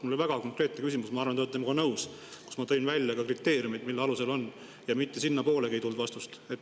Mul oli väga konkreetne küsimus – ma arvan, et te olete minuga nõus –, kus ma tõin välja ka kriteeriumid, et mille alusel on, ja mitte sinnapoolegi ei tulnud vastust.